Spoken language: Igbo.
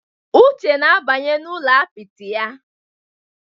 Uche na-abanye n'ụlọ apịtị ya.